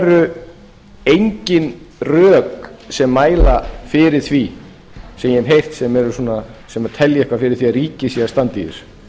eru engin rök sem mæla fyrir því sem ég hef heyrt sem telja eitthvað fyrir því að ríkið sé að standa í þessu